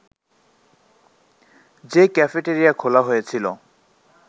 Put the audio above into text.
যে ক্যাফেটেরিয়া খোলা হয়েছিল